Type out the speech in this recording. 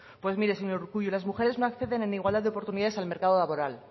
pues mire señor urkullu las mujeres no acceden en igualdad de oportunidades al mercado laboral